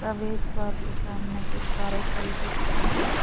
प्रवेश द्वार के सामने कुछ कारें खड़ी दिख रही हैं।